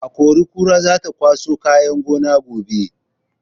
Akori-kora za ta kwaso kayan gona gobe.